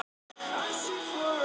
Eins vont og hægt er